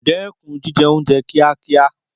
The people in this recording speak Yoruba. Dẹ́kun jíjẹ oúnjẹ kíákíá